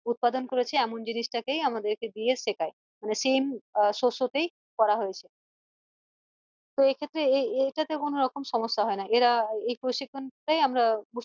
উৎপাদন করেছে এমন জিনিস টাকেই আমাদের কে দিয়ে শেখায় মানে same শস্য তেই করা হয়েছে তো এক্ষেত্রে এ এইটাতে কোনো সমস্যা হয়না এই প্রশিক্ষণ টাই আমরা